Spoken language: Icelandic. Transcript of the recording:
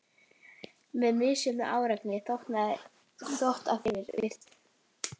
Með misjöfnum árangri þó, að því er virtist.